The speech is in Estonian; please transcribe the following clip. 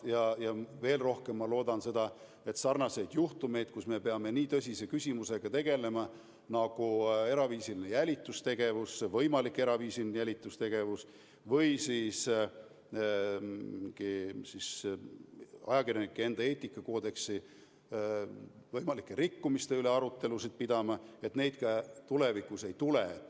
Ja veel rohkem ma loodan seda, et sarnaseid juhtumeid, kus me peame tegelema nii tõsise küsimusega nagu eraviisiline jälitustegevus või aru pidama ajakirjanduseetika koodeksi võimaliku rikkumise üle – et neid ka tulevikus ei tule.